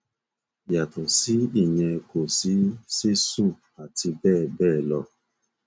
yàtọ sí ìyẹn kò sí sísun àti bẹẹ bẹẹ lọ